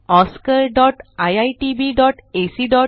spoken tutorialorgnmeict intro